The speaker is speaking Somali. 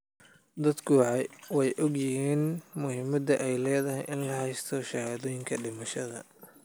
Dadku way ogyihiin muhiimadda ay leedahay in la haysto shahaadooyinka dhimashada.